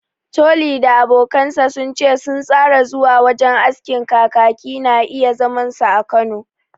Toli da abokansa sun ce sun tsara zuwa wajen askin Kakaki na iya zaman su a Kano